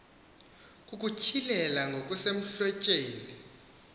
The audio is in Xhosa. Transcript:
kukutyhi lela ngokusemhlotjheni